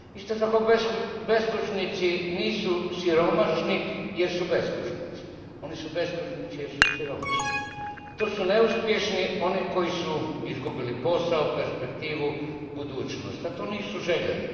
Isto tako beskućnici nisu siromašni jer su beskućnici. Oni su beskućnici jer su siromašni. To su neuspješni oni koji su izgubili posao, perspektivu, budućnost, a to nisu željeli.